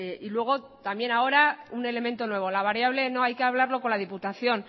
y luego también ahora un elemento nuevo la variable no hay que hablarlo con la diputación